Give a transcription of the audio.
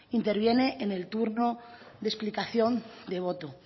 interviene en el turno de explicación de voto